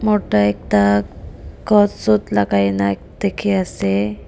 morta ekta coat suit lakai na dikhiase.